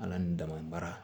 Ala ni daman baara